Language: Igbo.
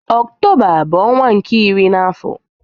Ọktoba bu ọnwa nke iri n'afo.